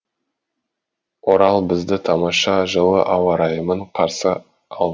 орал бізді тамаша жылы ауа райымен қарсы алды